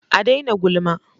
A dai na gulma